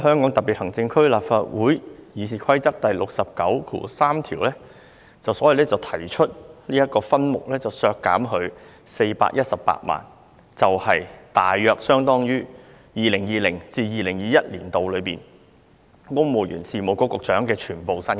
我根據立法會《議事規則》第693條，提出削減總目143在分目000運作開支項下的撥款418萬元，大約相當於 2020-2021 年度公務員事務局局長全年薪金。